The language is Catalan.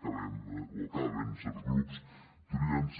acabem o acaben certs grups triant ser